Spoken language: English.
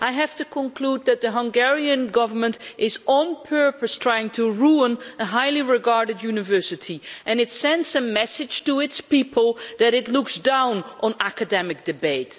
I have to conclude that the Hungarian Government is on purpose trying to ruin a highly regarded university and it sends a message to its people that it looks down on academic debate.